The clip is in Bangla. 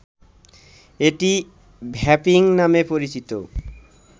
এটি ‘ভ্যাপিং’ নামে পরিচিত